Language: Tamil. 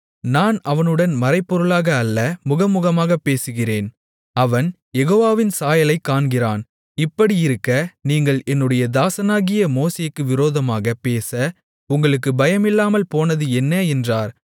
நான் அவனுடன் மறைபொருளாக அல்ல முகமுகமாக பேசுகிறேன் அவன் யெகோவாவின் சாயலைக் காண்கிறான் இப்படியிருக்க நீங்கள் என்னுடைய தாசனாகிய மோசேக்கு விரோதமாகப் பேச உங்களுக்குப் பயமில்லாமல் போனது என்ன என்றார்